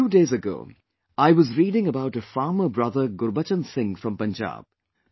A few days ago, I was reading about a farmer brother Gurbachan Singh from Punjab